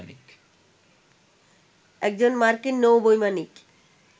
একজন মার্কিন নৌ বৈমানিক